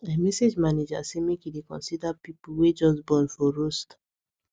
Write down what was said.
i message manager say make he dey consider people wey just born for roster